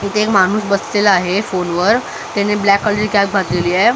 इथे माणूस बसलेला आहे फोन वर त्याने ब्लॅक कलरची कॅप घातलेली आहे.